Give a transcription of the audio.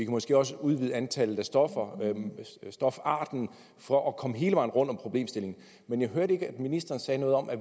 måske også udvide antallet af stofarter for at komme hele vejen rundt om problemstillingen men jeg hørte ikke at ministeren sagde noget om at